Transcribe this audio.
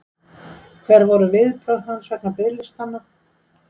Hver voru viðbrögð hans vegna biðlistanna?